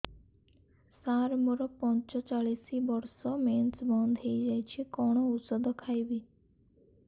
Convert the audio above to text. ସାର ମୋର ପଞ୍ଚଚାଳିଶି ବର୍ଷ ମେନ୍ସେସ ବନ୍ଦ ହେଇଯାଇଛି କଣ ଓଷଦ ଖାଇବି